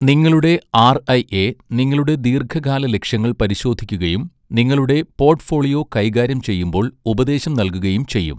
നിങ്ങളുടെ ആർഐഎ നിങ്ങളുടെ ദീർഘകാല ലക്ഷ്യങ്ങൾ പരിശോധിക്കുകയും, നിങ്ങളുടെ പോട്ട്ഫോളിയോ കൈകാര്യം ചെയ്യുമ്പോൾ ഉപദേശം നൽകുകയും ചെയ്യും.